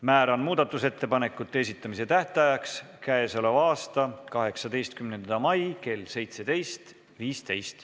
Määran muudatusettepanekute esitamise tähtajaks 18. mai kell 17.15.